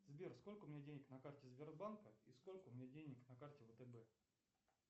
сбер сколько у меня денег на карте сбербанка и сколько у меня денег на карте втб